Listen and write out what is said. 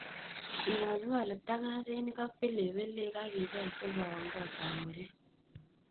Ing'olng'ol ptang'asinik ak pilipilik ak ibel sikooon kotab murek.